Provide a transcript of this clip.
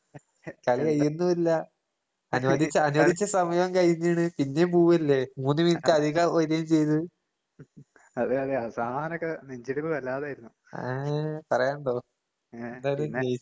അതെയതെ. അവസാനൊക്കെ നെഞ്ചിടിപ്പ് വല്ലാതായിരുന്നു. ഏഹ് പിന്നെ.